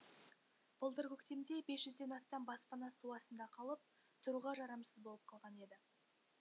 былтыр көктемде бес жүзден астам баспана су астында қалып тұруға жарамсыз болып қалған еді